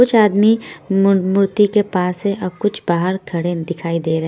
कुछ आदमी मु मूर्ति के पास है और कुछ बाहर खड़े दिखाई दे रहे--